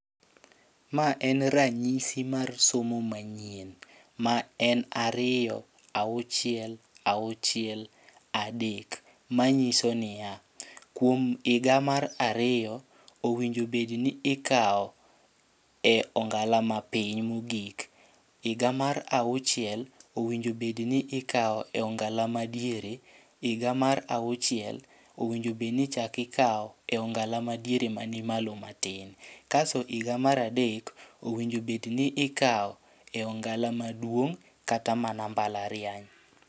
Ma en ranyisi mar somo manyien, ma en ariyo auchiel auchiel adek. Ma nyiso niya, kuom higa mar ariyo owinjo bedni ikawo e ongala mapiny mogik. Higa mar auchiel owinjo bedni ikawo e ongala ma diere, higa mar auchiel, owinjo bedni ichak ikawo e ongala madiere mani malo matin. Kasto higa mar adek, owinjo bedni ikawo e ongala maduong' kata mana mbalariany.